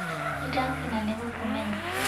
Nĩ ndakena nĩ gũkũmenya.